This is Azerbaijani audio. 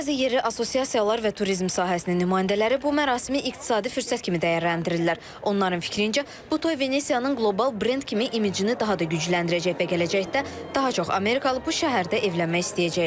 Bəzi yerli assosiasiyalar və turizm sahəsinin nümayəndələri bu mərasimi iqtisadi fürsət kimi dəyərləndirirlər: Onların fikrincə, bu toy Venesiyanın qlobal brend kimi imicini daha da gücləndirəcək və gələcəkdə daha çox amerikalı bu şəhərdə evlənmək istəyəcək.